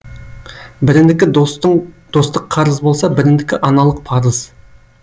бірінікі достық қарыз болса бірінікі аналық парыз